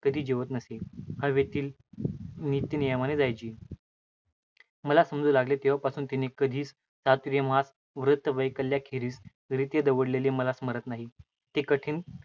कधी जेवत नसे. हवेलीत नित्यनेमाने जायची. मला समजू लागले तेव्हापासून तिने कधी चातुर्मास्य व्रतवैकल्याखेरीज रित दवडलेले मला स्मरत नाही. ती